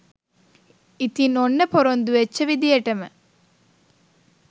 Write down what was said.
ඉතින් ඔන්න පොරොන්දු වෙච්ච විදියටම